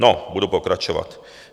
No, budu pokračovat.